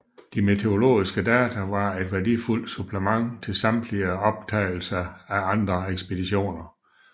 De meteorologiske data var et værdifuldt supplement til samtidige optagelser af andre ekspeditioner